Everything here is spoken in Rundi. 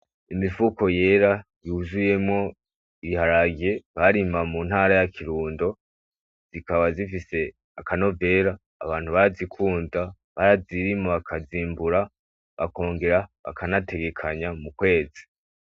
Imifuko yera yuzuyemwo ibiharage barima muntara ya kirundo zikaba z'ifise akanovera abantu barazikunda, barazirima bazimbura bakongera bakanategekanya mu kwezi.